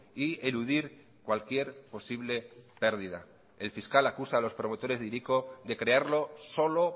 y eludir cualquier posible pérdida el fiscal acusa a los promotores de hiriko de crearlo solo